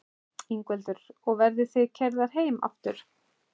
Ingveldur: Og verðið þið keyrðar heim aftur?